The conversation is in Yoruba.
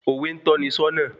Òwe n tọ́ni sọ́nà